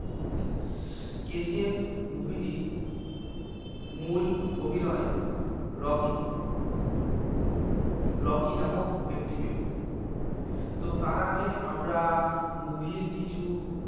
KGF movie টির মূল অভিনয় রকি রকি নামক একটি ব্যক্তি তো তার আগে আমরা movie র কিছু